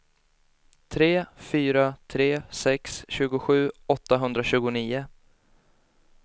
tre fyra tre sex tjugosju åttahundratjugonio